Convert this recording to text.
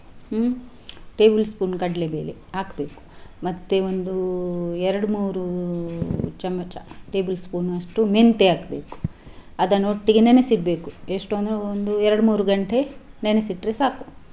ಹ್ಮ್ table spoon ಕಡ್ಲೆಬೇಳೆ ಹಾಕ್ಬೇಕು. ಮತ್ತೆ ಒಂದು ಎರಡು ಮೂರು ಚಮಚ table spoon ಅಷ್ಟು ಮೆಂತೆ ಹಾಕ್ಬೇಕು. ಅದನ್ನು ಒಟ್ಟಿಗೆ ನೆನೆಸಿ ಇಡ್ಬೇಕು ಎಷ್ಟು ಅಂದ್ರೆ ಒಂದು ಎರಡು ಮೂರು ಗಂಟೆ ನೆನೆಸಿ ಇಟ್ರೆ ಸಾಕು.